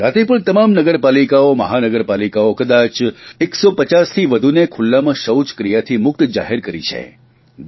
ગુજરાતે પણ તમામ નગરપાલિકાઓ મહાનગરપાલિકાઓ કદાચ 150થી વધુને ખુલ્લામાં શૌચક્રિયાથી મુક્ત જાહેરી કરી છે